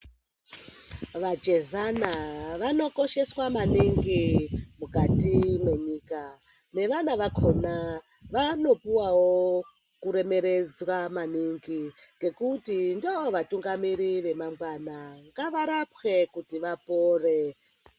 Vachezwana vanokosheswa maningi mukati mwenyika nevana vakona vanopuvavo kuremeredzwa maningi. Ngekuti ndovatungamiriri vamangana ngavarapwe kuti vapore.